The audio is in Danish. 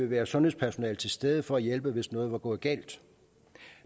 været sundhedspersonale til stede for at hjælpe hvis noget var gået galt